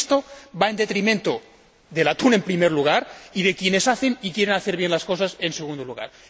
Porque esto va en detrimento del atún, en primer lugar y de quienes hacen y quieren hacer bien las cosas, en segundo lugar.